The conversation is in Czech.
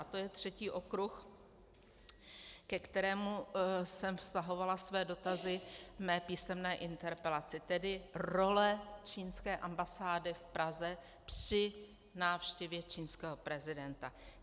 A to je třetí okruh, ke kterém jsem vztahovala své dotazy ve své písemné interpelaci, tedy role čínské ambasády v Praze při návštěvě čínského prezidenta.